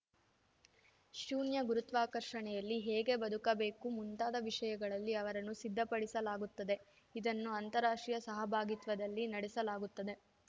ಶೂನ್ಯ ಗುರುತ್ವಾಕರ್ಷಣೆಯಲ್ಲಿ ಹೇಗೆ ಬದುಕಬೇಕು ಮುಂತಾದ ವಿಷಯಗಳಲ್ಲಿ ಅವರನ್ನು ಸಿದ್ಧಪಡಿಸಲಾಗುತ್ತದೆ ಇದನ್ನು ಅಂತಾರಾಷ್ಟ್ರೀಯ ಸಹಭಾಗಿತ್ವದಲ್ಲಿ ನಡೆಸಲಾಗುತ್ತದೆ